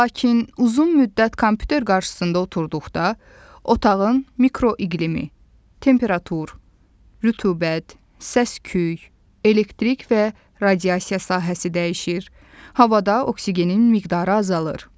Lakin uzun müddət kompüter qarşısında oturduqda otağın mikroiqlimi, temperatur, rütubət, səs-küy, elektrik və radiasiya sahəsi dəyişir, havada oksigenin miqdarı azalır.